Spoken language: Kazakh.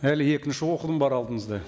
әлі екінші оқылым бар алдымызда